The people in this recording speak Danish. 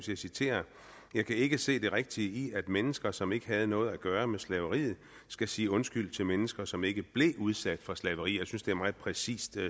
jeg citerer jeg kan ikke se det rigtige i at mennesker som ikke havde noget at gøre med slaveriet skal sige undskyld til mennesker som ikke blev udsat for slaveri jeg synes det er meget præcist